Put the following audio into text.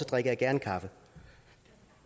drikker jeg gerne kaffe